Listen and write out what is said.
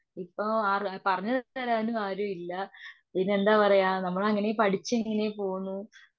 ഇപ്പോ പറ പറഞ്ഞുതരാനും ആരും ഇല്ല പിന്നെന്താ പറയാ നമ്മളിങ്ങനെ പഠിച്ചിങ്ങനെ പോന്നു.